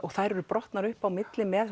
þær eru brotnar upp á milli með